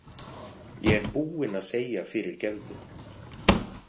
Ég er búinn að segja fyrirgefðu